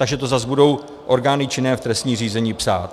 Takže to zas budou orgány činné v trestním řízení psát.